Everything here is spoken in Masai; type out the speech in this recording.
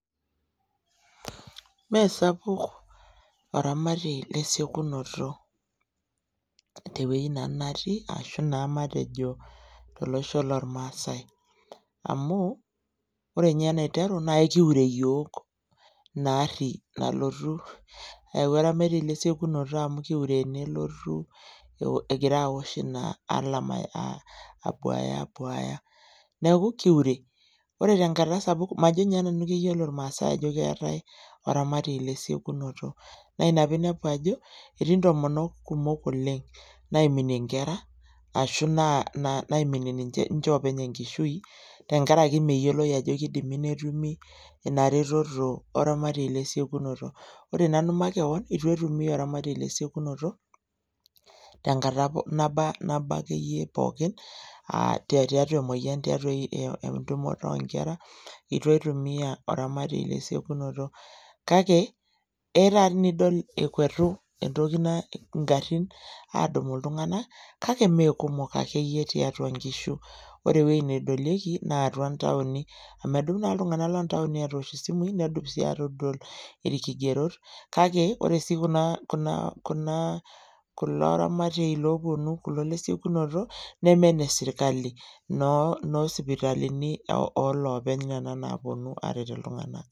Mmee sapuk oramatie le siokunoto te wuei nanu natii arashu naa matejo tolosho lormaasae . Amu ore ninye ene dukuya naa ekiure iyiook ina aari nalotu esiokinoto amu ekiure nelotu egira aosh ina alarm abuaaya , abuaaya, niaku kiure . Ore tenkata sapuk majo ninye nanu keyiolo irmaasae ajo keetae oramatie lesiokinoto. Naa ina pinepu ajo etii ntomonok kumok oleng naaimie inkera ashu naimie ninche openy enkishui tenkaraki meyiolo ajo keidimi netumi ina ramatie le siokinoto . Ore nanu makewon itu aitumia oramatie lesikunoto tenkata naba, naba akeyie pookin , aa tiatua emoyian , tiatua entumoto onkera itu aitumia oramatie le siekunoto . Kake etaa nidol ekwetu entoki naijo ngarin edumu iltunganak, kake mmee kumok akeyieyie tiatua nkishu. Ore ewueji nedolieki naa atua ntaoni amu edup naa iltunganak lontaoni atoosh isimui nedup sii atodol irkigerot . Kake osi kuna kuna kulo aratie loponu kulo lesiekunoto neme ine sirkali inoo sipitali oloopeny nena napuonu aret iltunganak.